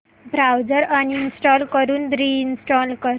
browser uninstall करून reinstall कर